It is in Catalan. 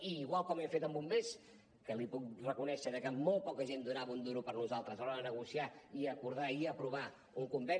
igual com hem fet amb bombers que li puc reconèixer que molt poca gent donava un duro per nosaltres a l’hora de negociar i acordar i aprovar un conveni